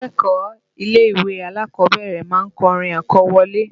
Akẹ́kọ̀ọ́ ilé-ìwé alákọ̀ọ́bẹ̀rẹ̀ ma ń kọrin àkọwọlé